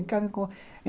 Vem cá